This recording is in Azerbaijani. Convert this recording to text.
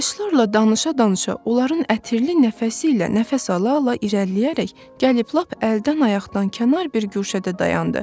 Ağaclarla danışa-danışa, onların ətirli nəfəsi ilə nəfəs ala-ala irəliləyərək gəlib lap əldən-ayaqdan kənar bir guşədə dayandı.